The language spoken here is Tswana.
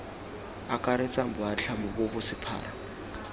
akaretsang boatlhamo bo bo sephara